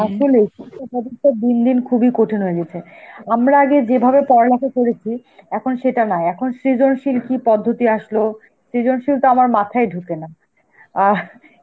এখন দিন দিন খুবই কঠিন হয়ে গেছে. আমরা আগে যেভাবে পড়ালেখা করেছি এখন সেটা না, এখন সৃজনশীল কি পদ্ধতি আসলো, সৃজনশীলতো আমার মাথায় ঢোকে না. আঁ